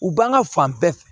U b'an ka fan bɛɛ